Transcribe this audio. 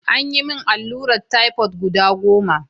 An yi min alluran typhoid guda goma.